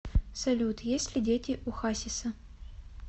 салют есть ли дети у хасиса